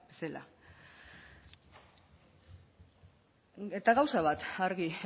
zela eta gauza bat argi